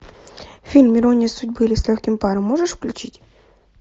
фильм ирония судьбы или с легким паром можешь включить